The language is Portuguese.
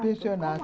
Pensionato.